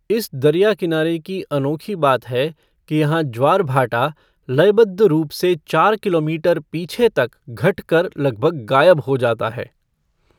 इस दरिया किनारे की अनोखी बात है कि यहाँ ज्वार भाटा लयबद्ध रूप से चार किलोमीटर पीछे तक घट कर लगभग गायब हो जाता है।